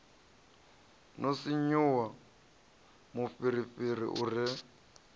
no sinvuwa mufhirifhiri u re